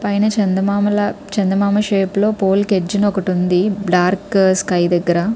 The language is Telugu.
పైన చందా చందా మామ షేప్ లో పోలె ఎడ్జిలో ఒకటి ఉంది బ్లాక్ స్కై దెగ్గర --